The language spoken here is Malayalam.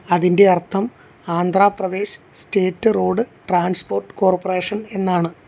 അതിന്റെ അർത്ഥം Andhra Pradesh state road transport corporation എന്നാണ്.